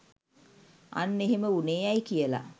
අන්න එහෙම වුනේ ඇයි කියල